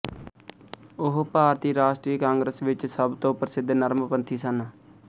ਉਹ ਭਾਰਤੀ ਰਾਸ਼ਟਰੀ ਕਾਂਗਰਸ ਵਿੱਚ ਸਭ ਤੋਂ ਪ੍ਰਸਿੱਧ ਨਰਮਪੰਥੀ ਸਨ